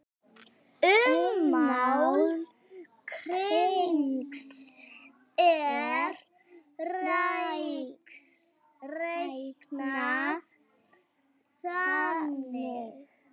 Ummál hrings er reiknað þannig